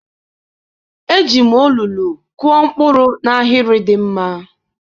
eji m olulu kụọ mkpụrụ m n'ahịrị dị mma.